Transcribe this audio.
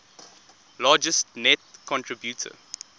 largest net contributor